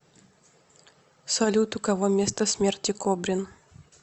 салют у кого место смерти кобрин